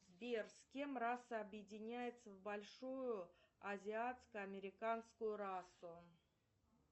сбер с кем раса объединяется в большую азиатско американскую расу